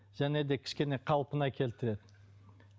және де кішкене қалпына келтіреді